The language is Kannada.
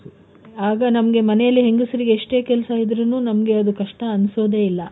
ಆಗ ನಮ್ಗೆ ಮನೆಯಲ್ಲಿ ಹೆಂಗಸ್ರಿಗೆ ಎಷ್ಟೇ ಕೆಲ್ಸ ಇದ್ರೂನು ನಮ್ಗೆ ಅದು ಕಷ್ಟ ಅನ್ಸೋದೇ ಇಲ್ಲಾ.